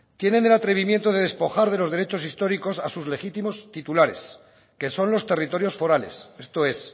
tienen el atrevimiento de despojar de los derechos históricos a sus legítimos titulares que son los territorios forales esto es